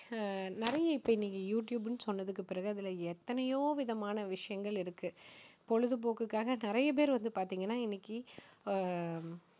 நிறைய இப்போ இன்னைக்குயூ டியூப்ன்னு சொன்னதுக்கு பிறகு அதுல எத்தனையோ விதமான விஷயங்கள் இருக்கு. பொழுதுபோக்குக்காக நிறைய பேர் வந்து பாத்தீங்கன்னா இன்னைக்கு அஹ்